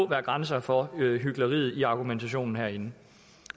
være grænser for hykleriet i argumentationen herinde